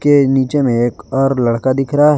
नीचे में एक और लड़का दिख रहा है।